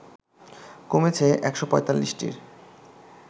কমেছে ১৪৫টির